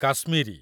Kashmiri